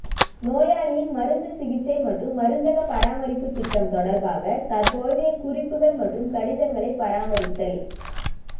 நோயாளியின் மருந்து சிகிச்சை மற்றும் மருந்தக பராமரிப்பு திட்டம் தொடர்பான தற்போதைய குறிப்புகள் மற்றும் கடிதங்களை பராமரித்தல்